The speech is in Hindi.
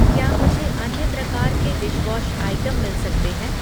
क्या मुझे अन्य प्रकार के डिशवॉश आइटम मिल सकते हैं?